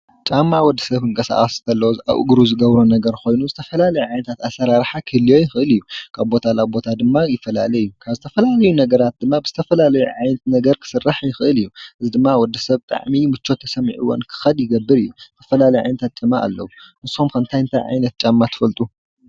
ጫማ ማለት ንወድሰብ ካብ ዝተፋላለዩ ንእግሩ ዝጎድኡ ዘድሕኑ ኮይኖም ኢሉ እውን ከም መጋየፂ ኮይኑ እውን የገልግል እዩ። ብዓይነት እውን ብዙሕ ዓይነት ጫማታት ኣለው።